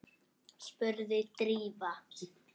spurði Drífa.